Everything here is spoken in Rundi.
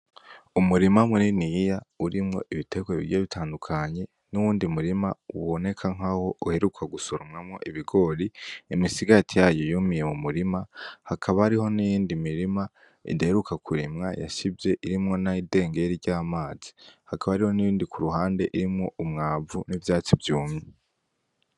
Umurima muniniya urimwo ibiterwa bigiye bitandukanye n'uwundi murima uboneka nk'aho uheruka gusoromwamwo ibigori, imisigati yayo yumiye mu murima, hakaba hariho n'iyindi mirima idaheruka kurimwa yashivye irimwo n'idengeri ry'amazi, hakaba ariho n'iyindi kuruhande irimwo umwavu n'ivyatsi vyumye.